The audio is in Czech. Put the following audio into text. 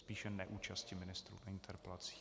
Spíše neúčasti ministrů v interpelacích.